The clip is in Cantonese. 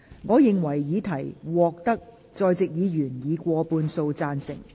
我認為議題獲得在席議員以過半數贊成。